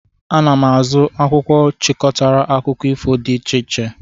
Aga m azụ akwụkwọ chịkọtara akụkọ ifo dị iche iche.